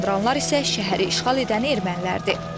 Evi yandıranlar isə şəhəri işğal edən ermənilərdir.